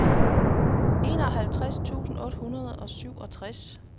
enoghalvtreds tusind otte hundrede og syvogtres